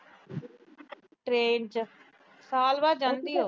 train ਚ। ਸਾਲ ਬਾਅਦ ਜਾਂਦੀ ਆ ਉਹ।